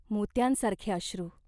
मोत्यांसारखे अश्रू.